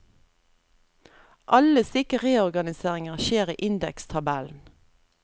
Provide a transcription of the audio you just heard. Alle slike reorganiseringer skjer i indekstabellen.